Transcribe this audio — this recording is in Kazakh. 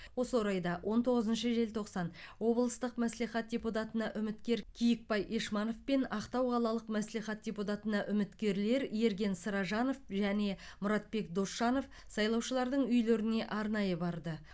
осы орайда он тоғызыншы желтоқсан облыстық мәслихат депутатына үміткер киікбай ешманов пен ақтау қалалық мәслихат депутатына үміткерлер ерген сыражанов және мұратбек досжанов сайлаушылардың үйлеріне арнайы барды